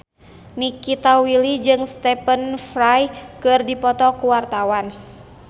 Nikita Willy jeung Stephen Fry keur dipoto ku wartawan